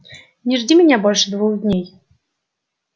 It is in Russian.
не жди меня больше двух дней